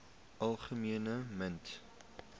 algemene mites